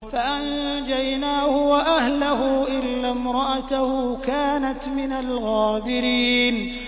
فَأَنجَيْنَاهُ وَأَهْلَهُ إِلَّا امْرَأَتَهُ كَانَتْ مِنَ الْغَابِرِينَ